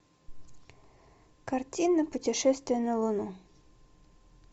картина путешествие на луну